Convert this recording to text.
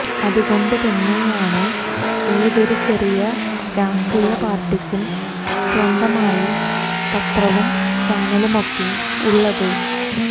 അതുകൊണ്ട് തന്നെയാണ് ഏതൊരു ചെറിയ രാഷ്ട്രീയ പാർട്ടിക്കും സ്വന്തമായി പത്രവും ചാനലുമൊക്കെ ഉള്ളത്